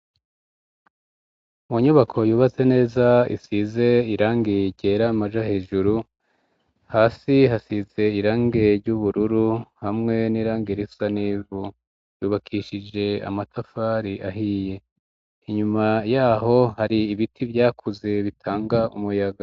mu nyubako yubatse neza isize irangi ryera amaja hejuru hasi hasize irangi ry'ubururu hamwe n'irangi risa nivu yubakishije amatafari ahiye inyuma yaho hari ibiti vyakuze bitanga umuyaga